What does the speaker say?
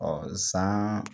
san